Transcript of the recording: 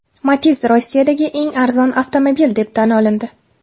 Matiz Rossiyadagi eng arzon avtomobil deb tan olindi.